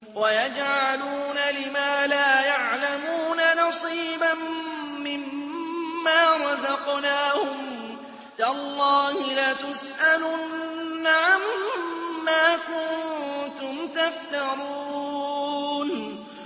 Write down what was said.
وَيَجْعَلُونَ لِمَا لَا يَعْلَمُونَ نَصِيبًا مِّمَّا رَزَقْنَاهُمْ ۗ تَاللَّهِ لَتُسْأَلُنَّ عَمَّا كُنتُمْ تَفْتَرُونَ